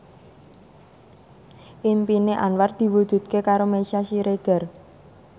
impine Anwar diwujudke karo Meisya Siregar